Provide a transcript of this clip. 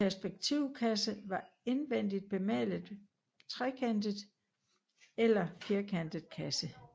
En perspektivkasse var en indvendigt bemalet trekantet eller firkantet kasse